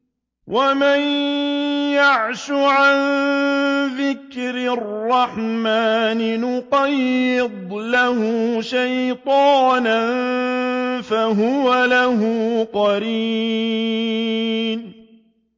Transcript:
وَمَن يَعْشُ عَن ذِكْرِ الرَّحْمَٰنِ نُقَيِّضْ لَهُ شَيْطَانًا فَهُوَ لَهُ قَرِينٌ